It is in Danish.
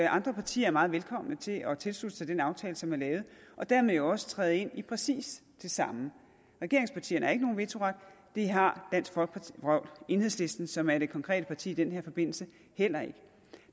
andre partier er meget velkomne til at tilslutte sig den aftale som er lavet og dermed jo også træde ind i præcis det samme regeringspartierne har ikke nogen vetoret og det har enhedslisten som er det konkrete parti i den her forbindelse heller ikke